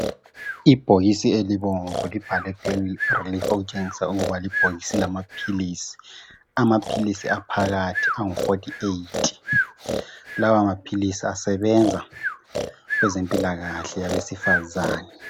Ibhokisi elibomvu libhalwe Pain Relief okutshengisa ukuba libhokisi lamaphilisi, amaphilisi aphakathi angu 48 lawa maphilisi asebenza kwezempilakahle abesifazane